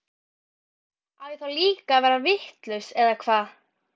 Á ég þá líka að verða vitlaus eða hvað?